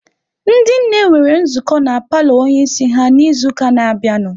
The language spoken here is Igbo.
Ndị nne nwere nzukọ na paalọ onye isi ha n'izuụka na-abịanụ.